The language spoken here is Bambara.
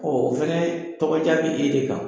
o fɛnɛ tɔgɔja bi e de kan.